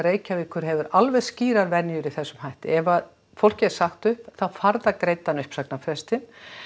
Reykjavíkur hefur alveg skýrar venjur í þessum hætti ef að fólki er sagt upp þá fær það greiddan uppsagnarfrestinn